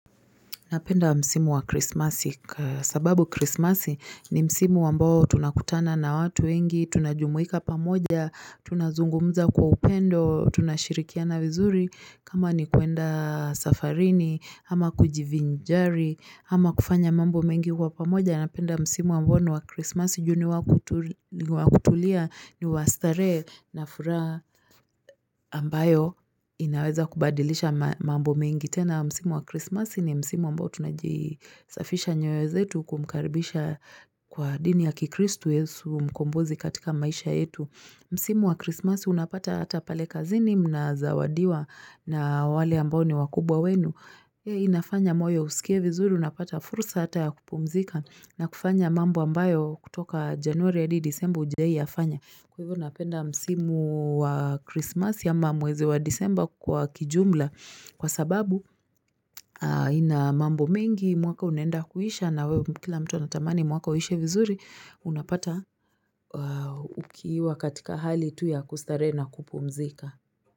Napenda msimu wa krismasi, sababu krismasi ni msimu ambao tunakutana na watu wengi, tunajumuika pamoja, tunazungumza kwa upendo, tunashirikia vizuri, kama ni kuenda safarini, ama kujivinjari, ama kufanya mambo mengi kwa pamoja. Anapenda msimu ambao wa kristmasi juni wakutulia ni wastare na fura ambayo inaweza kubadilisha mambo mengitena. Msimu wa kristmasi ni msimu ambao tunajisafisha nyoyo zetu kumkaribisha kwa dini ya kikristu yesu mkombozi katika maisha yetu. Msimu wa kristmasi unapata ata pale kazini mnazawadiwa na wale amboni wakubwa wenu. Hei inafanya moyo usikie vizuri, unapata fursa hata ya kupumzika na kufanya mambo ambayo kutoka januari ya disemba hujei yafanya Kwa hivyo napenda msimu wa Christmas ya mamwezi wa disembo kwa kijumla Kwa sababu ina mambo mingi, mwaka unenda kuhisha na kila mtu natamani mwaka ushe vizuri, unapata ukiiwa katika hali tu ya kustare na kupumzika.